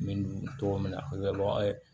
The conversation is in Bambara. N bɛ dun cogo min na a bɛ kɛ an ye